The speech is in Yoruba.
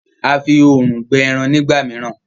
A fí òòrùn gbẹ èràn nígbàmìíràn.